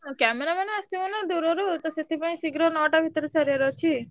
ଆଉ cameraman ଆସିବ ନା ଦୁରୁରୁ ତ ସେଥିପାଇଁ ଶୀଘ୍ର ନଅଟା ଭିତରେ ସାରିଆର ଅଛି।